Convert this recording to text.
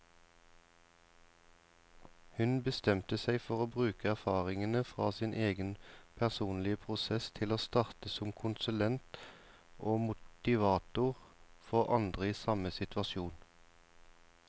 Hun bestemte seg for å bruke erfaringene fra sin egen personlige prosess til å starte som konsulent og motivator for andre i samme situasjon.